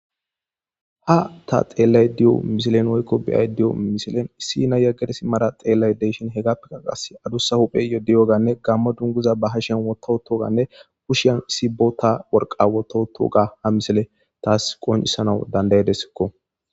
ha ta xeellay di7o misilen woykko biyay di7o misilen issi ina yaggedesi mara xeellay deyshin he gappika qas adussa huphey yodi yoganne gamma dunguza ba hashen wototoganne kushiyan isi bota worqawototo ga ha misile taas qonisanawu dandayedesikko